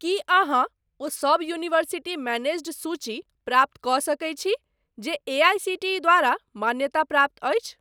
की अहाँ ओ सब यूनिवर्सिटी मैनेज्ड सूची प्राप्त कऽ सकैत छी जे एआईसीटीई द्वारा मान्यताप्राप्त अछि ?